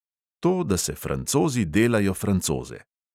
To, da se francozi delajo francoze.